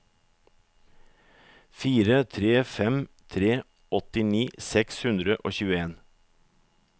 fire tre fem tre åttini seks hundre og tjueen